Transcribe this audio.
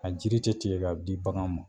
A jiri tɛ tigɛ k'a di bagan ma.